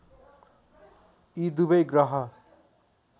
यी दुबै ग्रह